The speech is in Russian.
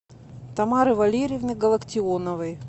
тамары валерьевны галактионовой